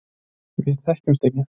Við þekktumst ekki.